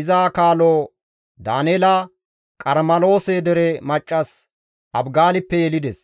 iza kaalo Daaneela Qarmeloose dere maccas Abigaalippe yelides.